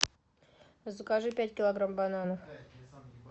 закажи пять килограмм бананов